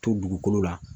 To dugukolo la